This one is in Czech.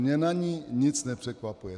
Mě na ní nic nepřekvapuje.